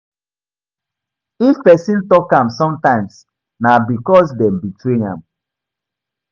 If persin talk am sometimes na because dem betray am